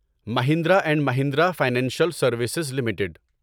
Mahindra and Mahindra financial services limited